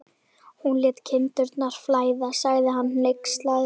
Hún lét kindurnar flæða, sagði hann hneykslaður.